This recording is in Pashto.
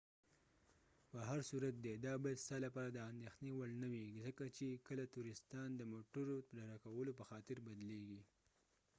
به هر صورت دي دا باید ستا لپاره د انديښنی وړ نه وي ،ځکه چې کله تورستان د موټرو د ډکولو په خاطر بدلیږی